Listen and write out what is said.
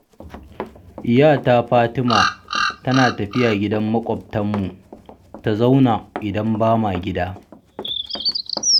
Yata Fatima tana tafiya gidan makwabtanmu ta zauna idan ba ma gida.